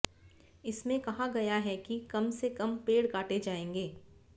इसमें कहा गया है कि कम से कम पेड़ काटे जाएंगे